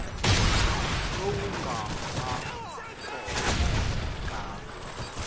lowu nga vaka kona eka